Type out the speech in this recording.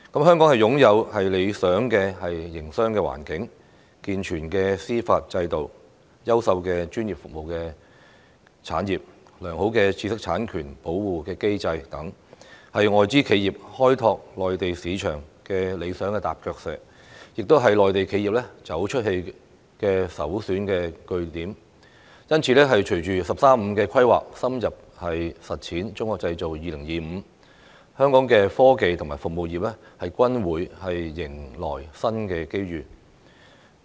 香港擁有理想的營商環境、健全的司法制度、優秀的專業服務產業、良好的知識產權保護機制等，是外資企業開拓內地市場的理想踏腳石，亦是內地企業走出去的首選據點，因此，隨着"十三五"規劃，深入實踐"中國製造 2025"， 香港的科技和服務業均會迎來新機遇。